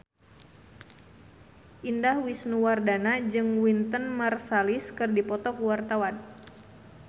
Indah Wisnuwardana jeung Wynton Marsalis keur dipoto ku wartawan